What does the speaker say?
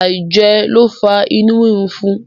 aijẹ lo fa inu rirun fún.